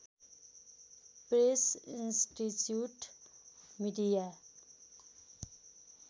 press institute media